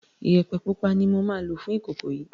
Iyẹ̀pẹ̀ pupa ni moma lò fún ìkòkò yìí